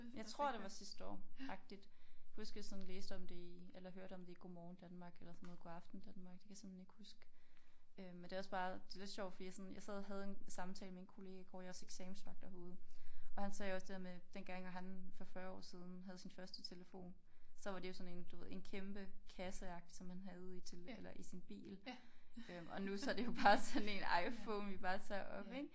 Jeg tror det var sidste år agtigt kan huske jeg sådan læste om det i eller hørte om det i Godmorgen Danmark eller sådan noget Godaften Danmark det kan jeg simpelthen ikke huske øh men det også bare det lidt sjovt fordi jeg sådan jeg sad og havde en en samtale med en kollega i går jeg også eksamensvagt herude og han sagde også det der med dengang når han for 40 år siden havde sin første telefon så var det jo sådan en du ved en kæmpe kasseagtig som han havde i eller i sin bil øh og nu så det jo bare sådan en Iphone vi bare tager op ik